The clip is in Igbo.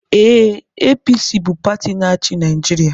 Ee, APC bụ pati na-achị Naịjirịa.